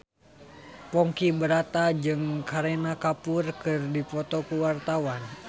Ponky Brata jeung Kareena Kapoor keur dipoto ku wartawan